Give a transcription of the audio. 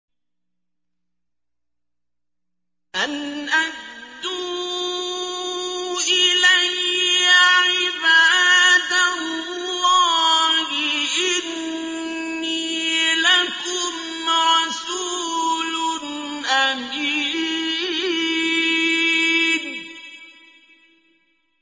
أَنْ أَدُّوا إِلَيَّ عِبَادَ اللَّهِ ۖ إِنِّي لَكُمْ رَسُولٌ أَمِينٌ